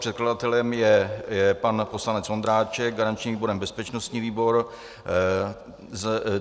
Předkladatelem je pan poslanec Ondráček, garančním výborem bezpečnostní výbor.